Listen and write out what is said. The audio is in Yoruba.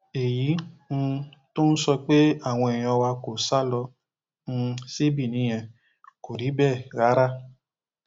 èyí um tó ń sọ pé àwọn èèyàn wa kò sá lọ um sí benin yẹn kò rí bẹẹ rárá